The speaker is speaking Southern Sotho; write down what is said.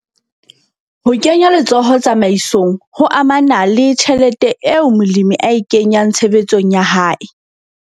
Ho kenya letsoho tsamaisong ho amana le tjhelete eo molemi a e kenyang tshebetsong ya hae.